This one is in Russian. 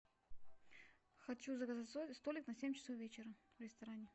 хочу заказать столик на семь часов вечера в ресторане